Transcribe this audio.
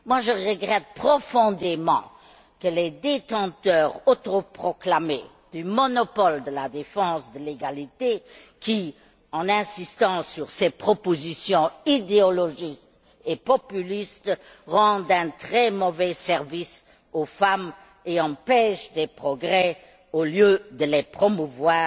Moi, je regrette profondément que les détenteurs autoproclamés du monopole de la défense de l'égalité, qui insistent sur ces propositions idéologiques et populistes, rendent un très mauvais service aux femmes et empêchent des progrès au lieu de les promouvoir.